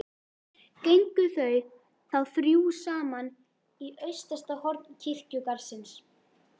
Gengu þau þá þrjú saman í austasta horn kirkjugarðsins.